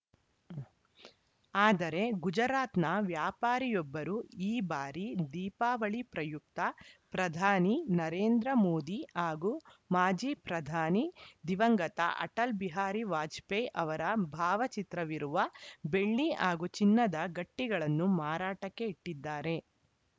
ಆದರೆ ಗುಜರಾತ್‌ನ ವ್ಯಾಪಾರಿಯೊಬ್ಬರು ಈ ಬಾರಿ ದೀಪಾವಳಿ ಪ್ರಯುಕ್ತ ಪ್ರಧಾನಿ ನರೇಂದ್ರ ಮೋದಿ ಹಾಗೂ ಮಾಜಿ ಪ್ರಧಾನಿ ದಿವಂಗತ ಅಟಲ್‌ ಬಿಹಾರಿ ವಾಜಪೇಯಿ ಅವರ ಭಾವಚಿತ್ರವಿರುವ ಬೆಳ್ಳಿ ಹಾಗೂ ಚಿನ್ನದ ಗಟ್ಟಿಗಳನ್ನು ಮಾರಾಟಕ್ಕೆ ಇಟ್ಟಿದ್ದಾರೆ